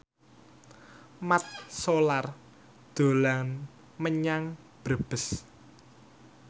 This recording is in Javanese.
Mat Solar dolan menyang Brebes